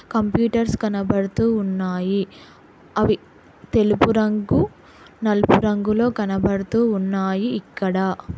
Computers కనబడుతూ ఉన్నాయి అవి తెలుపు రంగు నలుపు రంగులో కనబడుతూ ఉన్నాయి ఇక్కడ.